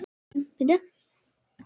Það veistu er það ekki?